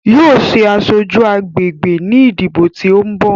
Yóò ṣe aṣojú agbègbè ní ìdìbò tí ó ń bò.